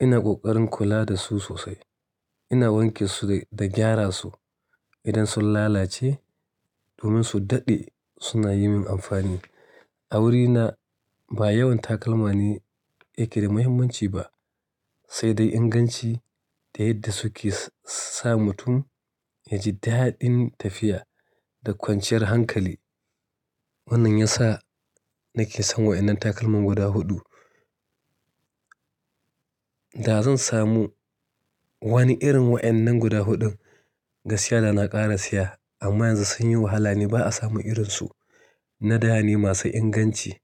Ina ƙoƙarin kula da su sosai. Ina wanke su da gyara su idan sun lalace domin su daɗe suna yi min amfani. A wurina ba yawan takalma ne yake da muhimmanci ba, sai dai inganci da yadda suke sa mutum ya ji dadin tafiya da kwanciyar hankali. Wannan ya sa nake son wa'ennan takalman guda huɗu. Da zan samu wani irin wa'ennan guda huɗun, gaskiya da na ƙara siya amma yanzu sun yi wahala ne ba a samu irinsu na da ne masu inganci.